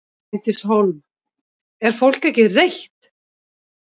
Bryndís Hólm: Er fólk ekki reitt?